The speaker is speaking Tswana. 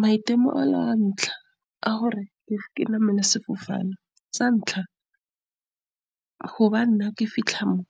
Maitemogelo a ntlha a gore ke namele sefofane sa ntlha, go ba nna, ke fitlha mo